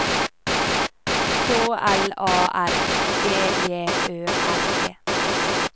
K L A R G J Ø R E